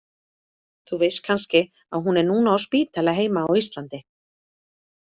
Þú veist kannski að hún er núna á spítala heima á Íslandi?